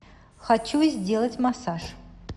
хочу сделать массаж